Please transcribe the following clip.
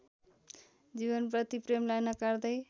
जीवनप्रति प्रेमलाई नकार्दै